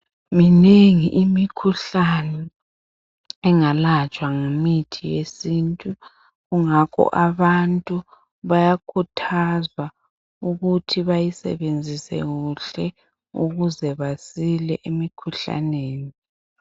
Minengi imikhuhlane engalatshwa ngemithi yesintu, kungakho abantu bayakhuthazwa ukuthi bayisebenzise kuhle ukuze basile emikhuhlaneni.